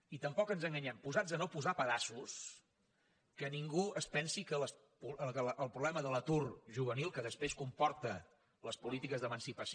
i tampoc ens enganyem posats a no posar pedaços que ningú es pensi que el problema de l’atur juvenil que després comporta les polítiques d’emancipació